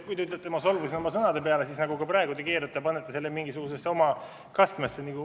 Kui te ütlete, et ma solvusin oma sõnade peale, siis – nagu ka praegu – te panete selle mingisugusesse oma kastmesse.